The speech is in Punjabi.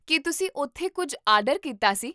ਕੀ ਤੁਸੀਂ ਉਥੋਂ ਕੁੱਝ ਆਰਡਰ ਕੀਤਾ ਸੀ?